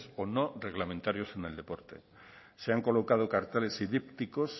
o no reglamentarios en el deporte se han colocado carteles y dípticos